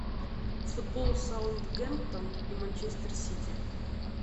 футбол саундгемптон и манчестер сити